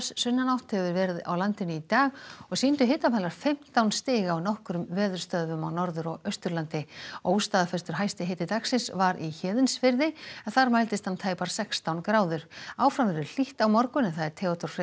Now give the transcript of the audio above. sunnanátt hefur verið á landinu í dag og sýndu hitamælar fimmtán stig á nokkrum veðurstöðvum á Norður og Austurlandi óstaðfestur hæsti hiti dagsins var í Héðinsfirði en þar mældist hann tæpar sextán gráður áfram verður hlýtt á morgun en Theodór Freyr